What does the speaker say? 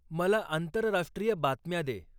मला आंतरराष्ट्रीय बातम्या दे